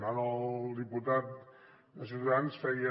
ara el diputat de ciutadans feia